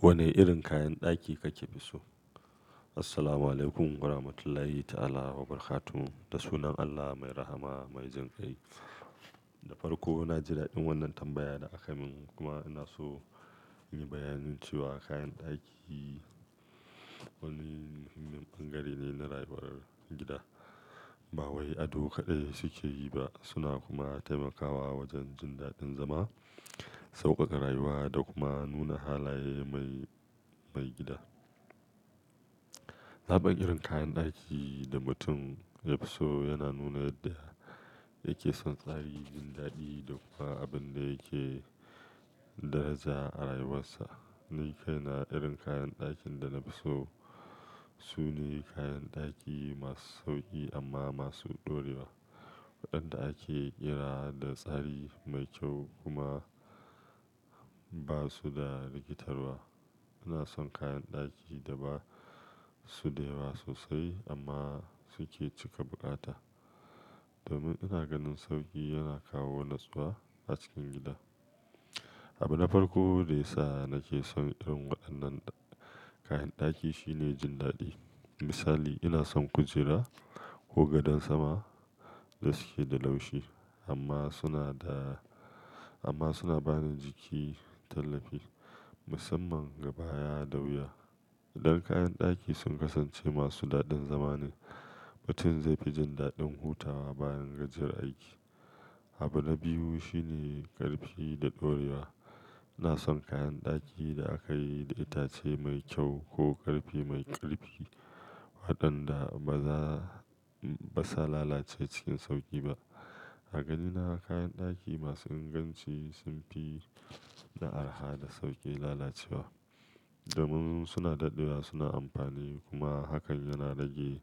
Wane irin kayan ɗaki kake fiso? Assalamu alaikum wa rahmatullahi ta'ala wa barakatuh. Da sunan Allah mai rahama mai jin kai. Da farko, na ji da ɗin wannan tambaya da aka min, kuma ina so in yi bayanin cewa kayan ɗaki wani muhimmin bangare ne na rayuwar gida. Ba wai ado kaɗai suke yi ba, suna kuma taimakawa wajen jin daɗin zama, sauƙaƙa rayuwa da kuma nuna halaye mai, mai gida. Zaɓar irin kayan daki da mutum ya fi so yana nuna yadda yake son tsari, jin daɗi da kuma abin da yake daraja a rayuwarsa. Ni kaina irin kayan ɗakin da na fi so sune kayan ɗaki masu sauƙi amma masu ɗorewa, waɗanda ake kira da tsari mai kyau kuma ba su da rikitarwa. Ina son kayan daki da ba su da yawa sosai amma suke cika buƙata. Domin ina ganin sauƙi yana kawo natsuwa a cikin gida. Abu na farko da ya sa nake son irin waɗannan kayan ɗaki shine jin daɗi. Misali, ina son kujera ko gadon sama da suke da laushi amma suna da, amma suna bani jiki tallafi, musamman ga baya da wuya. Idan kayan ɗaki sun kasance masu daɗin zamani, mutum zai fi jin daɗin hutawa bayan gajeren aiki. Abu na biyu shine ƙarfi da ɗorewa. Ina son kayan ɗaki da aka yi da itace mai kyau ko ƙarfe mai ƙarfi waɗanda ba za, ba sa lalace cikin sauƙi ba. A ganina kayan ɗaki masu inganci sun fi na araha da sauƙi lalacewa. Domin suna daɗewa suna amfani kuma hakan yana rage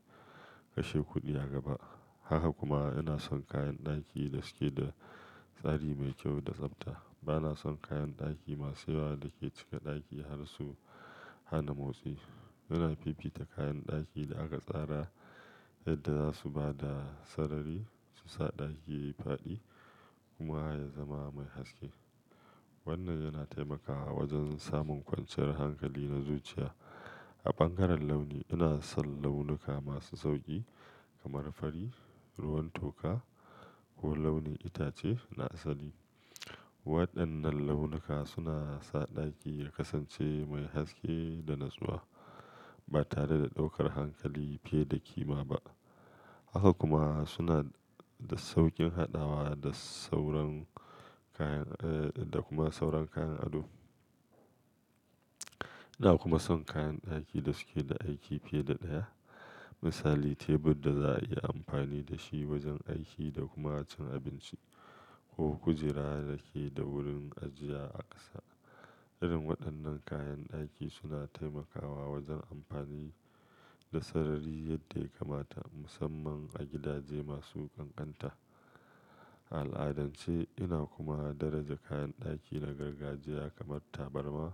kashe kuɗi a gaba. Haka kuma ina son kayan ɗaki da suke da tsari mai kyau da tsabta. Bana son kayan daki masu yawa da ke cika daki har su hana motsi. Ina fifita kayan daki da aka tsara yadda za su ba da sarari su sa ɗaki yayi faɗi kuma ya zama mai haske. Wannan yana taimakawa wajen samun kwanciyar hankali da zuciya. A bangaren launi, ina son launuka masu sauƙi kamar fari, ruwan toka ko launin itace na asali. Waɗannan launuka suna sa ɗaki ya kasance mai haske da natsuwa ba tare da ɗaukar hankali fiye da kima ba. Haka kuma suna da sauƙin haɗawa da sauran kayan, eh, da kuma sauran kayan ado. Ina kuma son kayan daki da suke da aiki fiye da ɗaya. Misali, tebur da za a iya amfani da shi wajen aiki da kuma cin abinci ko kujera da ke da wurin ajiya a ƙasa. Irin waɗannan kayan daki suna taimakawa wajen amfani da sarari yadda ya kamata, musamman a gidaje masu ƙanƙanta. A al'adance ina kuma daraja kayan ɗaki na gargajiya kamar tabarma,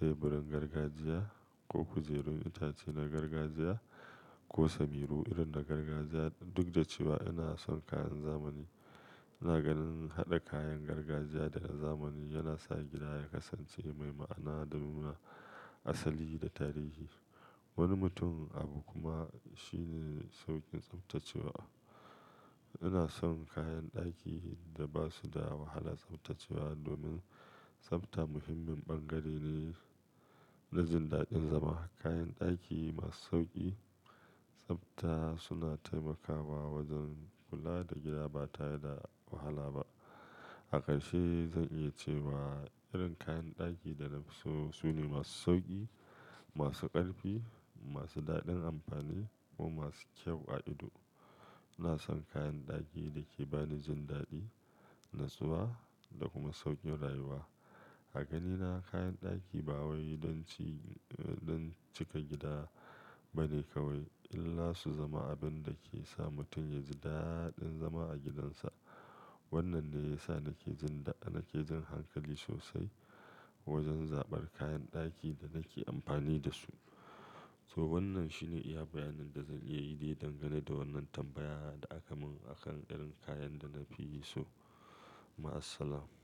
teburin gargajiya ko kujerun itace na gargajiya ko samiru irin na gargajiya duk da cewa ina son kayan zamani. Ina ganin haɗa kayan gargajiya da na zamani yana sa gida ya kasance mai ma'ana da nuna asali da tarihi. Wani mutum abu kuma shine sauƙin tsaftacewa. Ina son kayan ɗaki da ba su da wahala tsaftacewa domin tsafta muhimmin bangare ne na jin daɗin zama. Kayen ɗaki masu sauƙin tsafta suna taimakawa wajen kula da gida ba tare da wahala ba. A ƙarshe, zan iya cewa irin kayan ɗaki da na fi so sune masu sauƙi, masu ƙarfi, masu daɗin amfani kuma masu kyau a ido. Ina son kayan ɗaki da ke ba ni jin daɗi, natsuwa da kuma sauƙin rayuwa. A ganina kayan ɗaki ba wai don ci, don cika gida bane kawai, illa su zama abin da ke sa mutum ya ji daɗin zama a gidansa. Wannan ne ya sa nake jin da, nake jin hankali sosai wajen zaɓar kayan daki da nake amfani da su. To wannan shine iya bayanin da zan iya yi ne dangane da wannan tambaya da aka min a kan irin kayan da na fi so. Ma salaama.